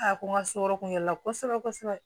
A ko n ka so yɔrɔ kun yɛrɛ la kosɛbɛ kosɛbɛ